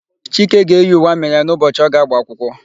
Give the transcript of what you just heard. Chike ga-eyi uwe amị ya n'ụbọchị ọ ga-agba akwụkwọ.